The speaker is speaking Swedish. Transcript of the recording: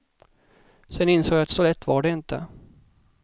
Sen insåg jag att så lätt var det inte.